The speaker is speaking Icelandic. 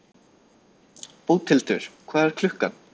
Bóthildur, hvað er klukkan?